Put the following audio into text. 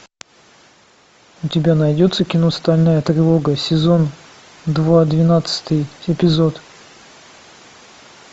у тебя найдется кино стальная тревога сезон два двенадцатый эпизод